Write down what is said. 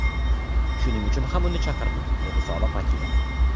Shuning uchun ham uni chaqirdik”, dedi soliq vakili.